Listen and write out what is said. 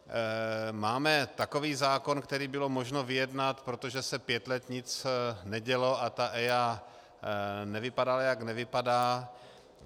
Máme takový zákon, který bylo možno vyjednat, protože se pět let nic nedělo a ta EIA nevypadala, jak nevypadá.